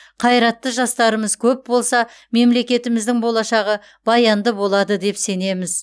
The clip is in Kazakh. қайратты жастарымыз көп болса мемлекетіміздің болашағы баянды болады деп сенеміз